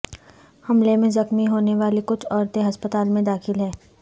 حملے میں زخمی ہونے والی کچھ عورتیں ہسپتال میں داخل ہیں